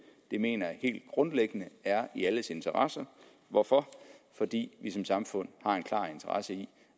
det mener jeg helt grundlæggende er i alles interesse hvorfor fordi vi som samfund har en klar interesse i